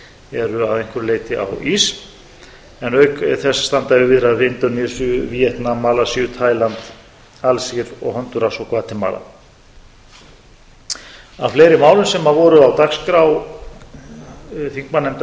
eru að einhverju leyti á ís en auk þess enda yfir viðræður við indónesíu víetnam malasíu tæland alsír og hondúras og gvatemala af fleiri málum sem voru á dagskrá þingmannanefnda efta og